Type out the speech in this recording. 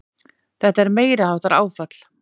Þetta er meiriháttar áfall!